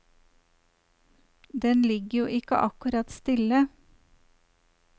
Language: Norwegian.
Den ligger jo ikke akkurat stille.